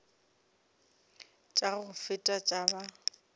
tša go feta tša ba